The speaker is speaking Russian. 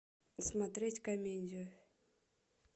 смотреть комедию